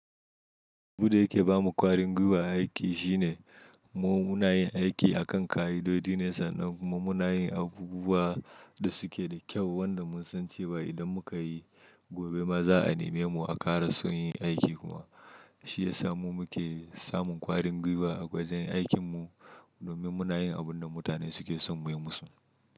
Biyu da yake ba mu kwarin gwiwa a aiki shi ne mu muna yin aiki akan kayidodi ne sannan kuma muna yin abubuwa da suke da kyau wanda mun san cewa idan muka yi gobe ma za a neme mu a ƙara son yin aikinmu. Shi ya sa mu muke samun kwarin gwiwa a gwajen aikin mu domin muna yin abun da mutane suke son mu yi musu.